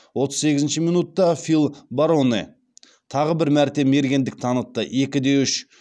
отыз сегізінші минутта фил бароне тағы бір мәрте мергендік танытты екіде үш